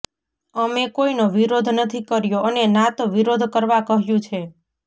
અમે કોઈનો વિરોધ નથી કર્યો અને ના તો વિરોધ કરવા કહ્યું છે